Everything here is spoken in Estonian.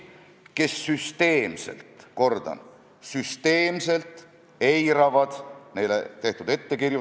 Ma toon näite esmaspäevasest majanduskomisjoni istungist, kus Haridus- ja Teadusministeerium tõi meie ette dokumendi, kus Vabariigi Valitsuse seisukohta tutvustades kasutati sõna "agiilne".